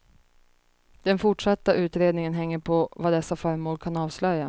Den fortsatta utredningen hänger på vad dessa föremål kan avslöja.